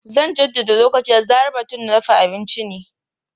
Zan jaddada lokaci da zarar batun na dafa abinci ne.